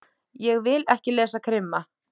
Ég vil ekki lesa krimma.